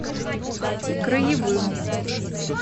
краевым